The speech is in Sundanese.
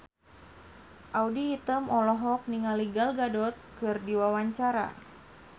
Audy Item olohok ningali Gal Gadot keur diwawancara